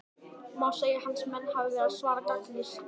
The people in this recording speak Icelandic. Má segja að hans menn hafi verið að svara gagnrýnisröddum?